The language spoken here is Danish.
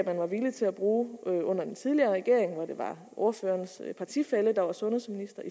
man var villig til at bruge under den tidligere regering hvor det var ordførerens partifælle der var sundhedsminister